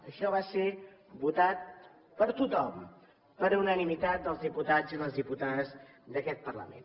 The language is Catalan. això va ser votat per tothom per unanimitat dels diputats i les diputades d’aquest parlament